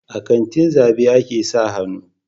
A katin zabe a ke sa hannu